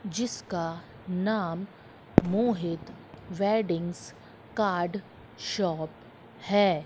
जिसका नाम Mohit weddings card shop है।